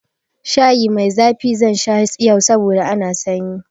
Shayi mai zafi zan sha yau saboda ana sanyi.